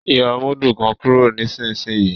yóó mudu kán kúrò nísìsiyìí!